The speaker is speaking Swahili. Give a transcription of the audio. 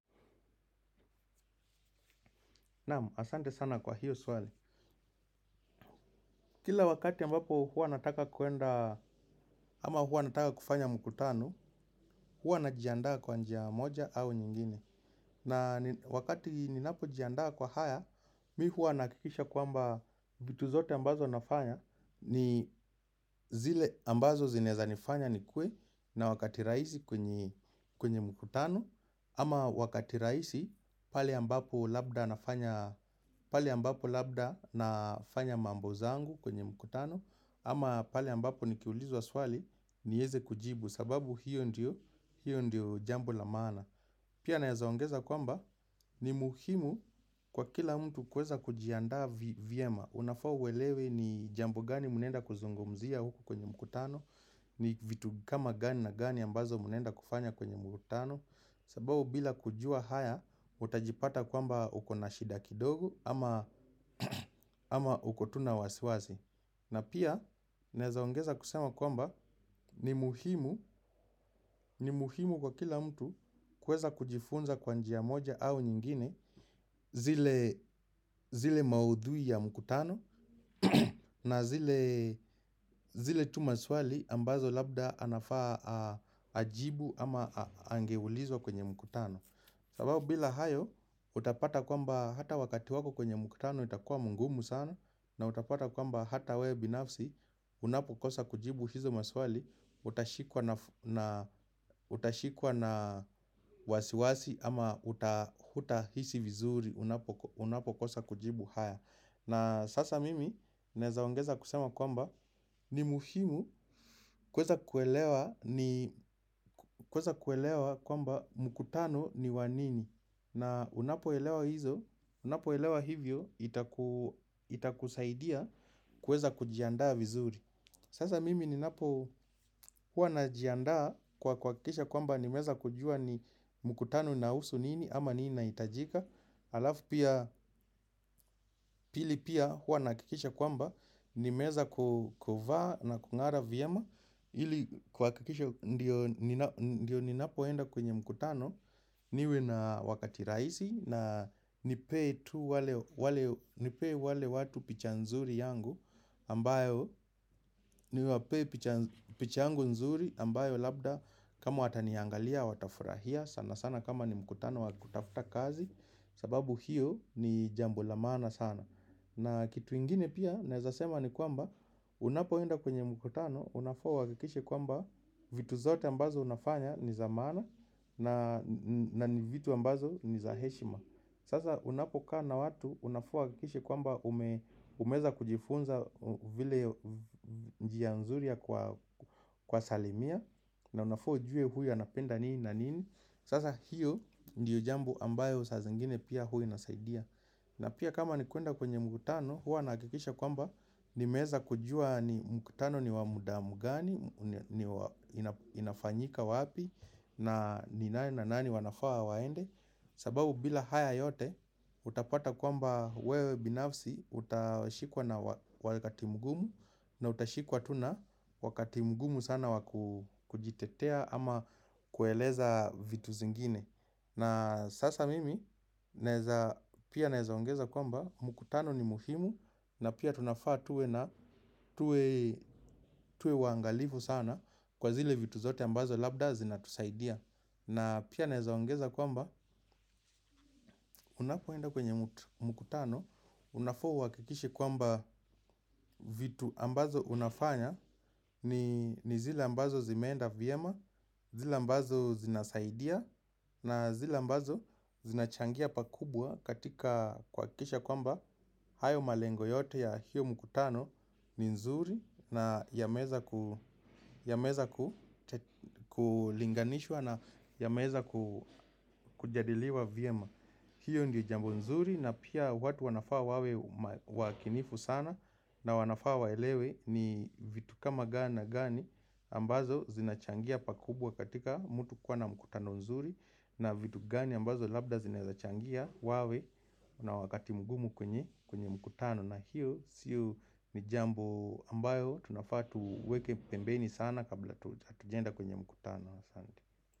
Namu, asante sana kwa hiyo swali. Kila wakati ambapo hua nataka kuenda, ama hua nataka kufanya mkutano, hua najiandaa kwa njia moja au nyingine. Na wakati ninapojiandaa kwa haya, mi hua naakikisha kuamba vituzote ambazo nafanya, ni zile ambazo zineza nifanya ni kuwe na wakati raisi kwenye mkutano, ama wakati raisi, pali ambapo labda nafanya mambo zangu kwenye mkutano. Ama pale ambapo nikiulizw aswali, nieze kujibu sababu hiyo ndiyo jambo la maana. Pia naezaongeza kwamba, ni muhimu kwa kila mtu kuweza kujianda viyema. Unafa uwelewe ni jambo gani munenda kuzungumzia huku kwenye mkutano. Ni vitu kama gani na gani ambazo munenda kufanya kwenye mkutano. Sabao bila kujua haya, utajipata kwamba ukona shida kidogo ama uko tu na wasiwazi. Na pia, nezaongeza kusema kwamba ni muhimu kwa kila mtu kweza kujifunza kwa njia moja au nyingine zile maudhui ya mkutano na zile tu maswali ambazo labda anafaa ajibu ama angeulizwa kwenye mkutano. Sababu bila haya utapata kwamba wakati wako kwenye mkutano utaweza kuwa mgumu utashikwa na wasiwasi ama utahuta hisi vizuri unapokosa kujibu haya. Na sasa mimi nezaongeza kusema kwamba ni muhimu kweza kuelewa kwamba mkutano ni wa nini. Na unapo elewa hivyo itakusaidia kuweza kujiandaa vizuri. Sasa mimi ninapo hua najiandaa kwa kuwakikisha kwamba ni meza kujua ni mkutano na husu nini ama nina itajika alafu pia pili pia hua nakikisha kwamba nimeeza kukova na kungara vyema hili kwa kikisha ndio ninapoenda kwenye mkutano niwe na wakati raisi na nipee tu nipe wale watu picha nzuri yangu ambayo niwape picha yangu nzuri ambayo labda kama wataniangalia watafurahia sana sana kama ni mkutano wakutafuta kazi. Sababu hiyo ni jambo lamaana sana. Na kitu ingine pia naezasema ni kwamba unapoenda kwenye mkutano. Unafaa uwakikishe kwamba vitu zote ambazo unafanya ni za mana. Na ni vitu ambazo ni za heshima. Sasa unapo kaa na watu unafaa uwakikishe kwamba umeza kujifunza vile njia nzuri ya kuwasalimia. Na unafua ujue huyu anapenda nii na nini. Sasa hiyo ndiyo jambu ambayo sa zengine pia huwa nasaidia. Na pia kama ni kuenda kwenye mkutano hua nakikisha kwamba nimeza kujua mkutano ni wa muda mgani, inafanyika wapi na nani wanafaa waende. Sababu bila haya yote utapata kwamba wewe binafsi utashikwa na wakati mgumu. Na utashikwa tuna wakati mgumu sana wakujitetea ama kueleza vitu zingine. Na sasa mimi pia naezaongeza kwamba mkutano ni muhimu na pia tuwe waangalifu sana kwa zile vitu zote labda zina tusaidia. Na pia nezaongeza kwamba unakuenda kwenye mkutano, unafa uwakikishi kwamba vitu ambazo unafanya ni zile ambazo zimenda vyema, zile ambazo zinasaidia, na zile ambazo zinachangia pakubwa katika kwa kikisha kwamba hayo malengo yote ya hiyo mkutano ni nzuri. Na yameza kulinganishwa na yameza kujadiliwa Vyema. Hiyo ndio jambo nzuri na pia watu wanafaa wawe wakinifu sana. Na wanafaa waelewe ni vitu kama gana gani ambazo zinachangia pakubwa katika mutu kuwa na mkutano nzuri. Na vitu gani ambazo labda zinachangia wawe na wakati mgumu kwenye mkutano. Na hiyo siyo ni jambo ambayo tunafaa tuweke pembeni sana kabla tujenda kwenye mkutano.